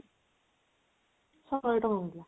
ଶହେ ଟଙ୍କା ନେଲା